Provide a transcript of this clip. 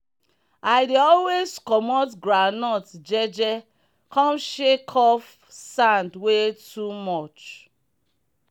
i dey always comot groundnut je je come shake off sand wey too much.